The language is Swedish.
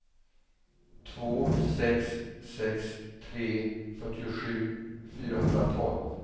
två sex sex tre fyrtiosju fyrahundratolv